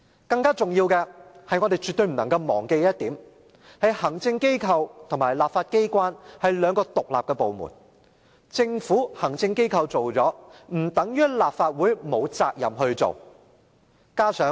更重要的是，我們絕對不能忘記的一點，便是行政機關與立法機關是兩個獨立部門，行政機關做了，不等於立法會沒有責任做。